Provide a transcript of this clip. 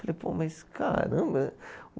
Falei, pô, mas caramba.